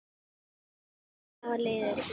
Árin hafa liðið fljótt.